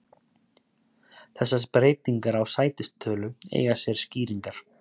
Þessar breytingar á sætistölu eiga sér skýringar.